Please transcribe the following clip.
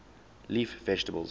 leaf vegetables